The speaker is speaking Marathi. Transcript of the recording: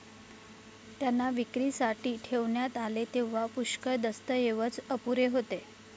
त्यांना विक्रीसाठी ठेवण्यात आले तेव्हा पुष्कळ दस्तऐवज अपुरे होते.